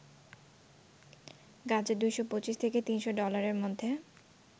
গাজা ২২৫ থেকে ৩০০ ডলারের মধ্যে